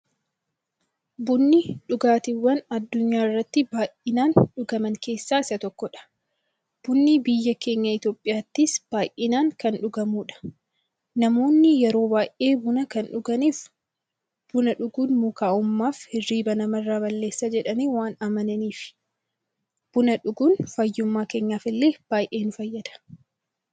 Bunni dhugaatiiwwan addunyaarratti baay'inaan dhugaman keessaa isa tokkodha. Bunni biyya keenya Itiyoophiyaattis baay'inaan kan dhugamuudha. Namoonni yeroo baay'ee buna kan dhuganiif, buna dhuguun mukaa'ummaafi hirriiba namarraa balleessa jedhanii waan amananiifi. Buna dhuguun fayyummaa keenyaf illee baay'ee nu fayyada.